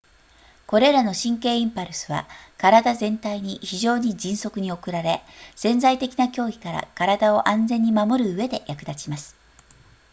これらの神経インパルスは体全体に非常に迅速に送られ潜在的な脅威から体を安全に守るうえで役立ちます